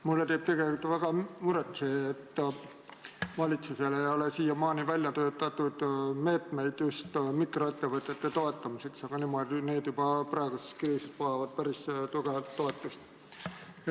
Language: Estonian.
Mulle teeb tegelikult väga muret see, et valitsusel ei ole siiamaani töötatud välja meetmeid mikroettevõtete toetamiseks, aga need vajavad juba praeguses kriisis päris tugevat toetust.